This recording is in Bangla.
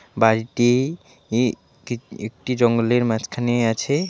বাড়িটি ই কি একটি জঙ্গলের মাঝখানেই আছে .]